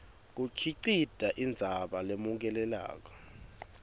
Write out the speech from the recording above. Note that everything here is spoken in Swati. kukhicite indzaba lemukelekako